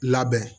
Labɛn